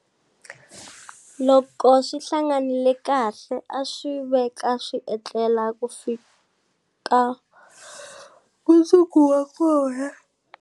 Loko swi hanganile kahle a swi veka swi etlela ku fika mundzuku wa kona.